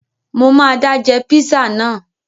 Mo máa dá jẹ píṣà náà